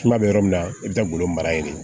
Kuma bɛ yɔrɔ min na i bɛ taa golo mara yen de ye